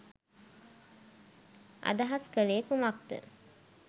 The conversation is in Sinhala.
අදහස් කලේ කුමක්ද?